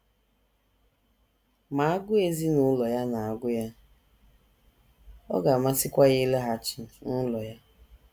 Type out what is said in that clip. Ma agụụ ezinụlọ ya na - agụ ya, ọ ga - amasịkwa ya ịlaghachi n’ụlọ ha.